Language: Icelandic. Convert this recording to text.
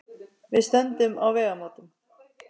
Við stöndum á vegamótum.